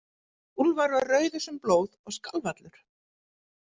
Úlfar var rauður sem blóð og skalf allur.